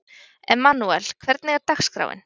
Emmanúel, hvernig er dagskráin?